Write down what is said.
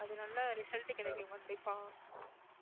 அது நல்ல result கிடைக்கும் கண்டிப்பா